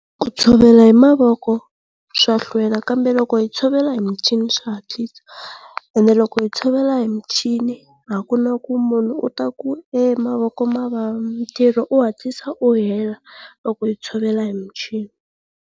Ku tshovela hi mavoko swa hlwela kambe loko hi tshovela hi michini swa hatlisa. Ende loko hi tshovela hi michini a ku na munhu u ta ku e mavoko ma vava, mitirho u hatlisa u hela loko hi tshovela hi michini.